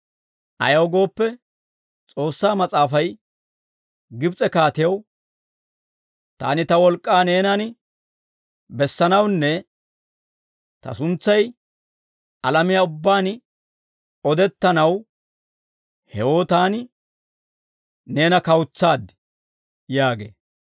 Ayaw gooppe, S'oossaa Mas'aafay Gibs'e kaatiyaw, «Taani ta wolk'k'aa neenan bessanawunne ta suntsay alamiyaa ubbaan odettanaw, hewoo taani neena kawutsaad» yaagee.